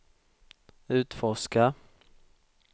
utforska